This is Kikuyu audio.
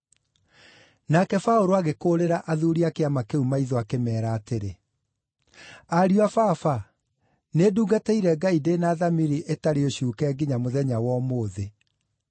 Nake Paũlũ agĩkũũrĩra athuuri a Kĩama kĩu maitho akĩmeera atĩrĩ, “Ariũ a Baba, nĩndungatĩire Ngai ndĩ na thamiri ĩtarĩ ũcuuke nginya mũthenya wa ũmũthĩ.”